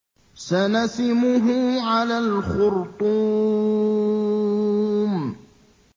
سَنَسِمُهُ عَلَى الْخُرْطُومِ